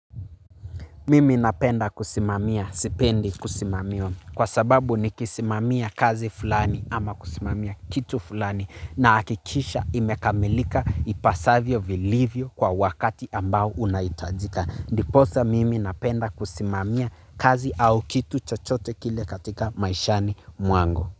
Mimi napenda kusimamia sipendi kusimamiwa kwa sababu ni kisimamia kazi fulani ama kusimamia kitu fulani na hakikisha imekamilika ipasavyo vilivyo kwa wakati ambao unaitajika. Ndiposa mimi napenda kusimamia kazi au kitu chochote kile katika maishani muango.